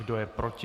Kro je proti?